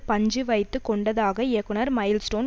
பஞ்சு வைத்து கொண்டதாக இயக்குனர் மைல்ஸ்டோன்